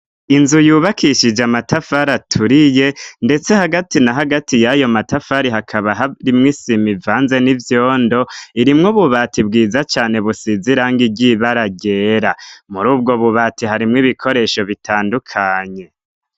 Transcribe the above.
Inzu yubakishije amatafari aturiye ndetse hagati na hagati y'ayo matafari hakaba hari mw isima ivanze n'ivyondo irimwo bubati bwiza cane busize irangi ryibara ryera muri ubwo bubati harimo ibikoresho bitandukanye.